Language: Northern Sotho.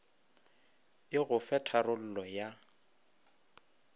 e go fe tharollo ya